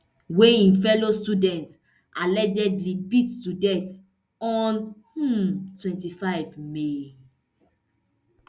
wey im fellow students allegedly beat to death on um twenty-five may